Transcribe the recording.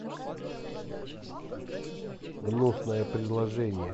гнусное предложение